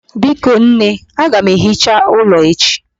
Biko nne, aga m ehicha ime ụlọ echi.